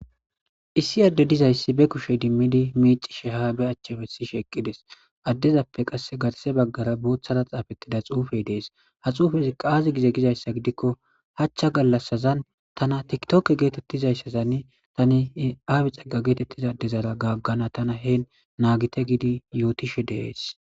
Issi adde dizayssi be kushey dimmidi miici she ha be achchabe si sheeqqides addezappe qass gatase baggara booththara xaafettida xuufey dees ha xuufez qaazi gize gizayssa gidikko hachcha gallassazan tana tiktoke geetettizayssazann tani aabe xagga geetettizadezala gaggana tana heen naagite gidi yootishe deees